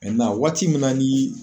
na waati min na ni